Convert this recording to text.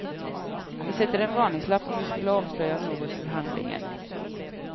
Vi sätter en varningslapp om vi skulle avslöja något ur handlingen.